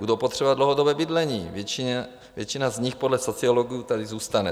Budou potřebovat dlouhodobé bydlení, většina z nich podle sociologů tady zůstane.